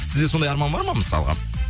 сізде сондай арман бар ма мысалға